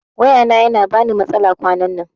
Waya na yana bani matsala kwanan nan